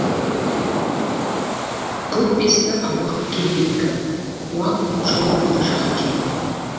көк бесті абақ керейдікі уақ жауапты жақ екен